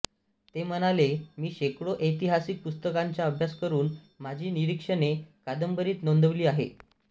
ते म्हणाले मी शेकडो ऐतिहासिक पुस्तकांचा अभ्यास करून माझी निरीक्षणे कादंबरीत नोंदवली आहेत